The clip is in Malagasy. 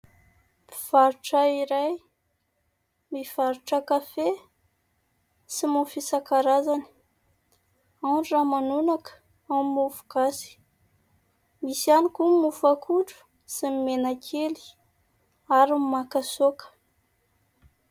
Mpivarotra iray mivarotra kafe sy mofo isan-karazana, ao ny ramanonaka, ao ny mofo gasy, misy ihany koa ny mofo akondro sy ny menakely ary ny makasaoka.